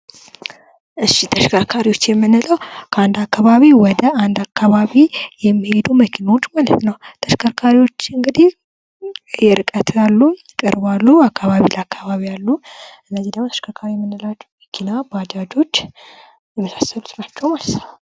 እሺ ተሽከርካሪዎች የምንለው ከአንድ አካባቢ ወደ አንድ አካባቢ የሚሄዱ መኪናዎች ማለት ነው ። ተሽከርካሪዎች እንግዲህ የርቀት አሉ ፣ ቅርብ አሉ ፣ አካባቢ ለአካባቢ አሉ ። እነዚህ ደግሞ ተሽከርካሪ የምንላቸው መኪና ፣ ባጃጆች የመሳሰሉት ናቸው ማለት ነው ።